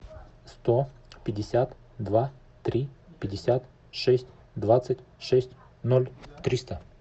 сто пятьдесят два три пятьдесят шесть двадцать шесть ноль триста